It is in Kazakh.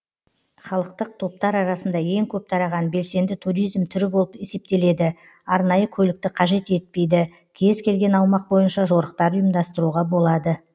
халықтық топтар арасында ең көп тараған белсенді туризм түрі болып есептеледі арнайы көлікті қажет етпейді кез келген аумақ бойынша жорықтар ұйымдастыруға болады